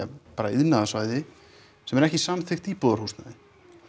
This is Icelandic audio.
iðnaðarsvæði sem er ekki samþykkt íbúðarhúsnæði